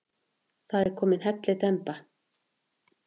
Það er komin hellidemba.